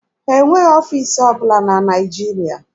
Ha enweghị ọfiisi ọbụla na Naịjirịa.